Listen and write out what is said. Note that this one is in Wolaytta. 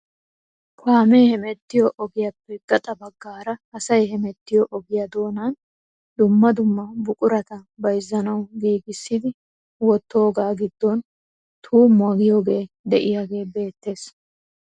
Kaamee hemettiyo ogiyaappe gaxa baggaara asay hemettiyoo ogiyaa doonaan dumma dumma buqurata bayzzanwu giigissidi woottoogaa giddon tuummuwaa giyoogee de'iyaagee beettees!